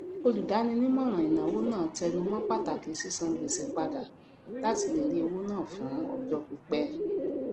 olùdáninímọràn ìnáwó náà tẹnu mọ pàtàkì sísan gbèsè padà latí lè rí owó ná fún ọjọ pípẹ